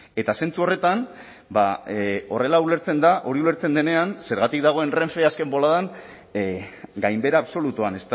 eta zentzu horretan ba horrela ulertzen da hori ulertzen denean zergatik dagoen renfe azken boladan gainbehera absolutuan